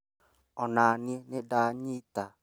Onaniĩ nĩ ndanyita